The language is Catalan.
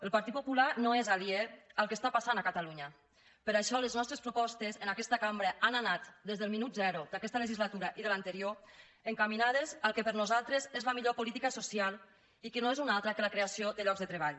el partit popular no és aliè al que està passant a catalunya per això les nostres propostes en aquesta cambra han anat des del minut zero d’aquesta legislatura i de l’anterior encaminades al que per nosaltres és la millor política social que no és una altra que la creació de llocs de treball